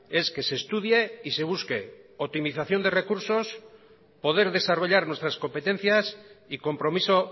es que se estudie y se busque optimización de recursos poder desarrollar nuestras competencias y compromiso